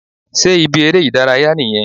Sé ibi eré ìdárayá nìyẹn?